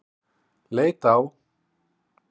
Leit á